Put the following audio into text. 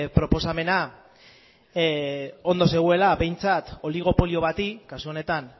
proposamena ondo zegoela behintzat oligopolio bati kasu honetan